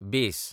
बेस